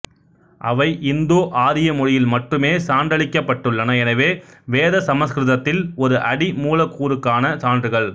அவை இந்தோஆரிய மொழியில் மட்டுமே சான்றளிக்கப்பட்டுள்ளன எனவே வேத சமஸ்கிருதத்தில் ஒரு அடி மூலக்கூறுக்கான சான்றுகள்